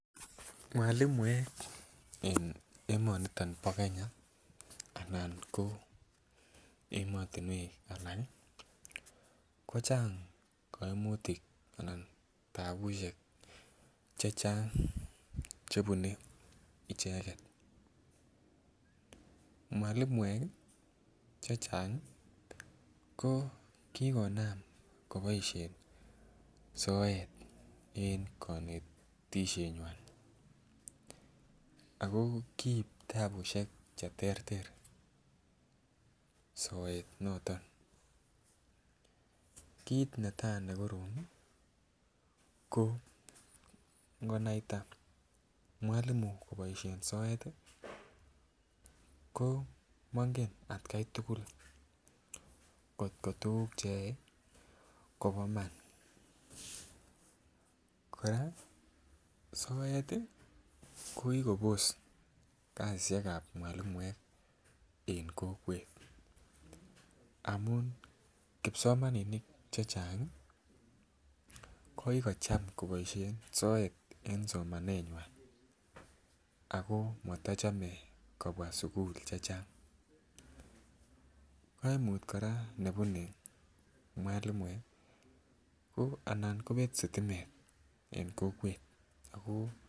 Mwalimuek en emoni bo Kenya ak emotinwek alak ko chang kaimutik Anan tapusiek Che Chang Che bune icheget mwalimuek chechang ko konam koboisien soet en konetisienywa ago kikoib tapusiek Che terter soet noton kit netai nekorom ko ngonaita mwalimu koboisien soet ko mangen en atkai tugul angot ko tuguk Che yoe kobo iman kora soet kokikobos kasisyek ab mwalimuek en kokwet amun kipsomaninik Che Chang ko ki kocham koboisien soet en somanenywan ago motochome kobwa sukul kaimut age ne bune mwalimuek ko anan kobet sitimet en kokwet